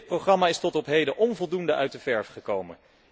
Dit programma is tot op heden onvoldoende uit de verf gekomen.